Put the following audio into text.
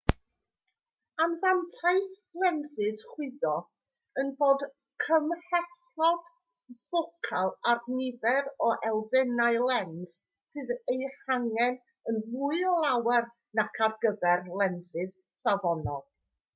anfantais lensys chwyddo yw bod cymhlethdod ffocal a'r nifer o elfennau lens sydd eu hangen yn fwy o lawer nac ar gyfer lensys safonol